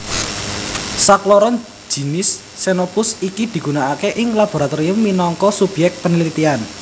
Sakloron jinis xenopus iki digunakake ing laboratorium minangka subyek paneliten